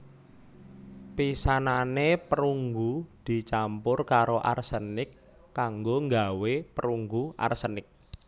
Pisanane perunggu dicampur karo arsenik kanggo nggawé perunggu arsenik